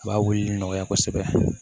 A b'a wulili nɔgɔya kosɛbɛ